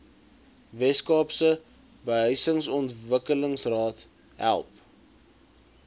weskaapse behuisingsontwikkelingsraad help